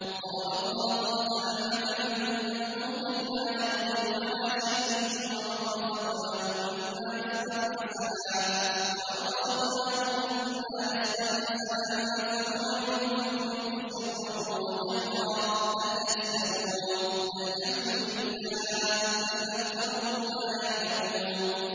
۞ ضَرَبَ اللَّهُ مَثَلًا عَبْدًا مَّمْلُوكًا لَّا يَقْدِرُ عَلَىٰ شَيْءٍ وَمَن رَّزَقْنَاهُ مِنَّا رِزْقًا حَسَنًا فَهُوَ يُنفِقُ مِنْهُ سِرًّا وَجَهْرًا ۖ هَلْ يَسْتَوُونَ ۚ الْحَمْدُ لِلَّهِ ۚ بَلْ أَكْثَرُهُمْ لَا يَعْلَمُونَ